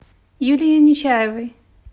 юлии нечаевой